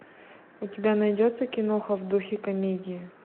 у тебя найдется киноха в духе комедии